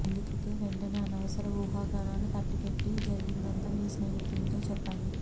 అందుకే వెంటనే అనవసర వూహాగానాలు కట్టిపెట్టి జరిగిందంతా మీ స్నేహితునితో చెప్పండి